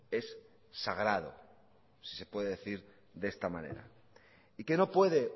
es sagrado si se puede decir de esta manera y que no puede